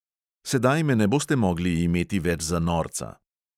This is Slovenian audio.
Sedaj me ne boste mogli imeti več za norca.